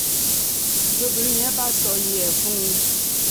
lobìnrin yẹn bá ṣòye ẹ̀ fún un